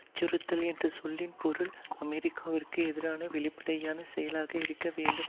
அச்சுறுத்தல் என்ற சொல்லின் பொருள் அமெரிக்காவிற்கு எதிரான வெளிப்படையான செயலாக இருக்க வேண்டும்